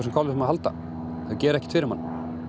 kolvetnum að halda þau gera ekkert fyrir mann